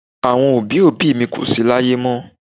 Àwọn òbí òbí mi kò sí láyé mọ́.